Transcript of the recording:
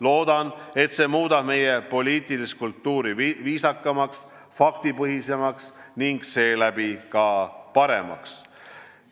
Loodan, et see muudab meie poliitilist kultuuri viisakamaks, faktipõhisemaks ning seeläbi paremaks.